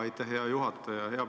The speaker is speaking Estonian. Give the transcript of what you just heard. Aitäh, hea juhataja!